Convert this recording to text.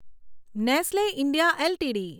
Nestle India LTD